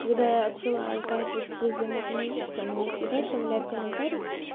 когда я отсылаю каждый ты з математики она мне всегда оставляет комментарий